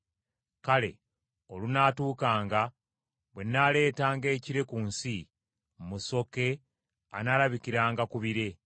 “Kale olunaatuukanga, bwe nnaaleetaanga ekire ku nsi, musoke anaalabikiranga ku bire,